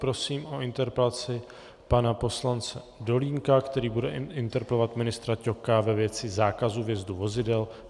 Prosím o interpelaci pana poslance Dolínka, který bude interpelovat ministra Ťoka ve věci zákazu vjezdu vozidel.